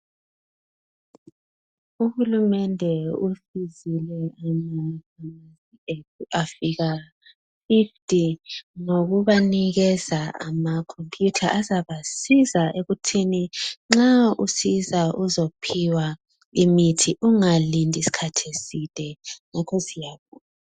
Uhulumende usizile amafamasi ethu afika fifuti ngokubanikeza amakhompiyutha azabasiza ekuthini nxa usiza uzophiwa imithi ungalindi isikhathi eside ngakho siyabonga.